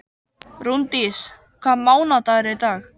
Rúndís, hvaða mánaðardagur er í dag?